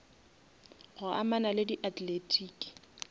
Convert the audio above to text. go amana le di athletiki